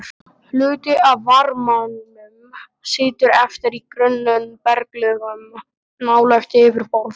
Hluti af varmanum situr eftir í grunnum berglögum nálægt yfirborði.